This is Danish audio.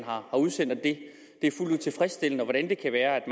har udsendt er fuldt ud tilfredsstillende og hvordan kan det være at